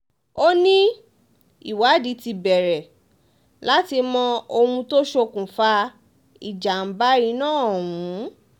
ó ní ìwádìí ti bẹ̀rẹ̀ láti mọ ohun tó ṣokùnfà ìjàmbá iná ọ̀hún